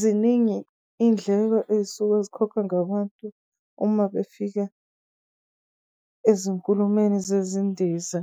ziningi indleko esuke zikhokhwa ngabantu uma befika ezinkulumeni zezindiza.